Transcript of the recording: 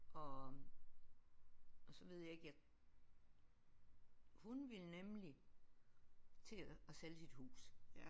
Og og så ved jeg ikke at hun ville nemlig til at sælge sit hus